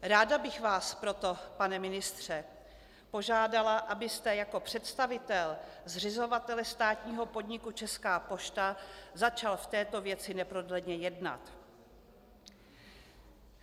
Ráda bych vás proto, pane ministře, požádala, abyste jako představitel zřizovatele státního podniku Česká pošta začal v této věci neprodleně jednat.